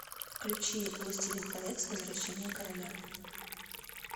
включи властелин колец возвращение короля